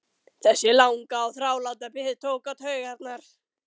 Þessi langa og þráláta bið tók á taugarnar.